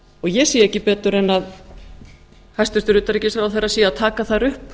ég sé ekki betur en hæstvirtur utanríkisráðherra sé að taka þar upp